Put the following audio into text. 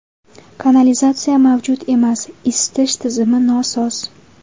Kanalizatsiya mavjud emas, isitish tizimi nosoz.